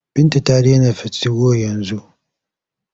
Binta ta dena tigo yanzu.